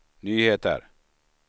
nyheter